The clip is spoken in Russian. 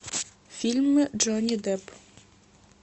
фильмы джонни депп